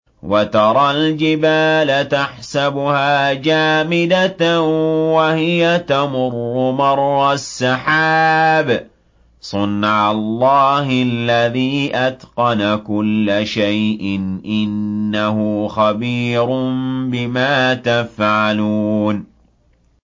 وَتَرَى الْجِبَالَ تَحْسَبُهَا جَامِدَةً وَهِيَ تَمُرُّ مَرَّ السَّحَابِ ۚ صُنْعَ اللَّهِ الَّذِي أَتْقَنَ كُلَّ شَيْءٍ ۚ إِنَّهُ خَبِيرٌ بِمَا تَفْعَلُونَ